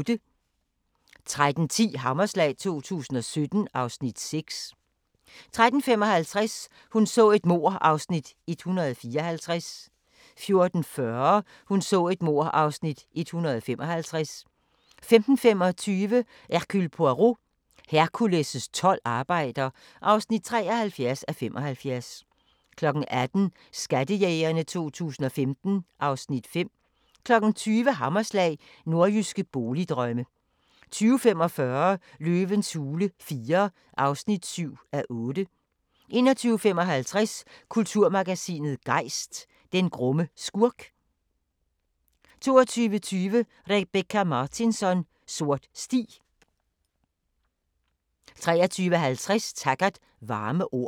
13:10: Hammerslag 2017 (Afs. 6) 13:55: Hun så et mord (154:267) 14:40: Hun så et mord (155:267) 15:25: Hercule Poirot: Hercules' tolv arbejder (73:75) 18:00: Skattejægerne 2015 (Afs. 5) 20:00: Hammerslag – Nordjyske boligdrømme 20:45: Løvens hule IV (7:8) 21:55: Kulturmagasinet Gejst: Den grumme skurk 22:20: Rebecka Martinsson: Sort sti 23:50: Taggart: Varme ord